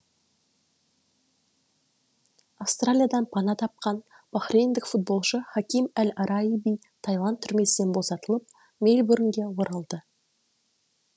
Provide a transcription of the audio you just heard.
австралиядан пана тапқан бахрейндік футболшы хаким әл араиби таиланд түрмесінен босатылып мельбурнге оралды